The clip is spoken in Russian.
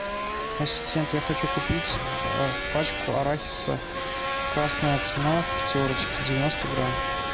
ассистент я хочу купить пачку арахиса красная цена в пятерочке девяносто грамм